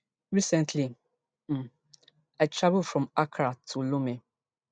recently um i travel from accra to lome